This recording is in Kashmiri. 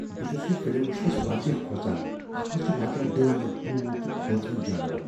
بہٕ چُھس یہِ فِلم وُچھنس وارِیاہ كھوژان ۔ اتھ منز چھِ وارِیاہ ڈٲنہٕ ، بھوٗت تہٕ كھوژوٕنۍ جانور ۔